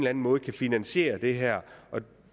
anden måde kan finansiere det her